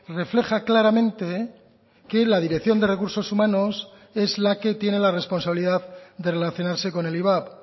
refleja claramente que la dirección de recursos humanos es la que tiene la responsabilidad de relacionarse con el ivap